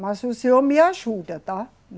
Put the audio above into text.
Mas o senhor me ajuda, tá?